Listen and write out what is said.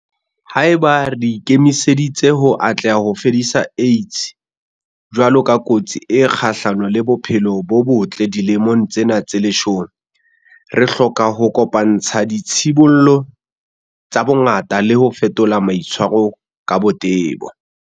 Haeba re ikemiseditse ho atleha ho fedisa AIDS jwalo ka kotsi e kgahlano le bophelo bo botle dilemong tsena tse leshome, re hloka ho kopa-ntsha ditshibollo tsa bongaka le ho fetola maitshwaro ka botebo.